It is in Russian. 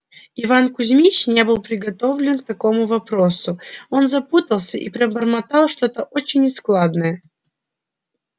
иван кузмич не был приготовлен к таковому вопросу он запутался и пробормотал что-то очень нескладное